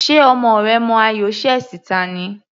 Ṣe ọmọ rẹ mọ ayò chess ta ni?